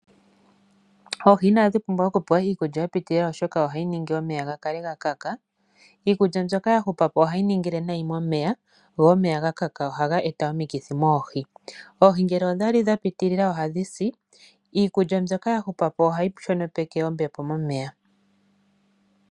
Oohi inadhi pumbwa okupewa iikulya ya pitilila, oshoka ohayi ningi omeya gakale gakaka. Iikulya mbyoka yahupapo ohayi ningile nayi momeya, go omeya gakaka ohaga eta omikithi moohi. Oohi ngele odhali dhapitilila ohadhisi, niikulya mbyoka yahupapo ohayi shonopeke ombepo momeya.